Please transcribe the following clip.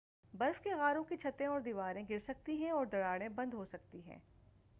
برف کے غاروں کی چھتیں اور دیواریں گرسکتی ہیں اور دراڑیں بند ہو سکتی ہیں